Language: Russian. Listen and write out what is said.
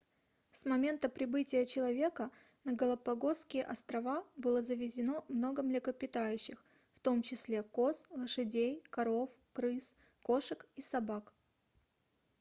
с момента прибытия человека на галапагосские острова было завезено много млекопитающих в том числе коз лошадей коров крыс кошек и собак